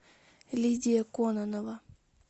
лидия кононова